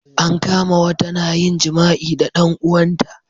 an kama wata na yin jima'i da dan uwan ta